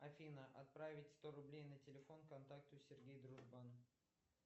афина отправить сто рублей на телефон контакту сергей дружбан